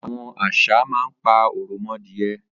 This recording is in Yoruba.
Àwọn àṣá mà n pà awọn òròmọdìẹ